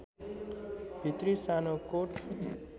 भित्री सानो कोट